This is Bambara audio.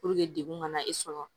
degun ka na e sɔrɔ